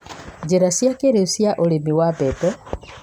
Njĩra cia kĩrĩu cia ũrĩmi wa mbembe